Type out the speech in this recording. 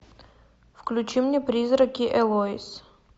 включи мне призраки элоиз